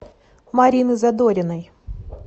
марины задориной